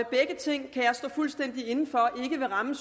begge ting kan jeg stå fuldstændig inde for ikke vil ramme